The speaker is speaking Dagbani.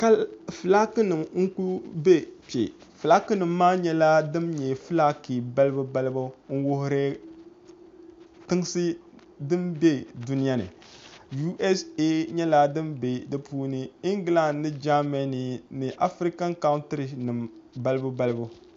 Fulaaki nim n ku bɛ kpɛ fulaaki nima maa nyɛla din nyɛ fulaaki balibu balibu n wuri tinsi din bɛ duniya ni USA nyɛla din bɛ di puuni iingilan mini jaamɛni ni afirikan kauntiri nim balibu balibu